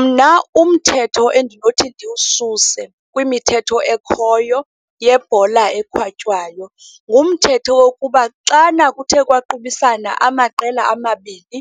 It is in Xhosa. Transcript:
Mna, umthetho endinothi ndiwususe kwimithetho ekhoyo yebhola ekhatywayo ngumthetho wokuba xana kuthe kwaqubisana amaqela amabini,